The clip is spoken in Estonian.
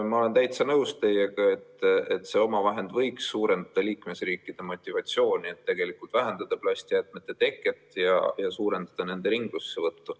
Ma olen täitsa nõus teiega, et see omavahend võiks suurendada liikmesriikide motivatsiooni vähendada plastijäätmete teket ja suurendada nende ringlussevõttu.